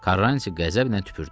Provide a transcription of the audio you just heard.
Karranti qəzəblə tüpürdü.